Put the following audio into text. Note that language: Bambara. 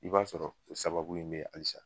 I b'a sɔrɔ o sababu in be yen halisa.